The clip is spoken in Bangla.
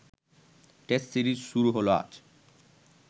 টেস্ট সিরিজ শুরু হল আজ